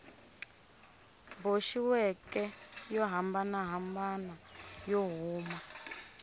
boxiweke yo hambanahambana yo huma